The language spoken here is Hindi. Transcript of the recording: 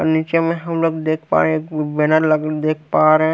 और नीचे में हम लोग देख पा रहे हैं बिना लगन देख पा रहे हैं।